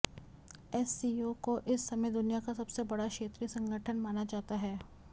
SCO को इस समय दुनिया का सबसे बड़ा क्षेत्रीय संगठन माना जाता है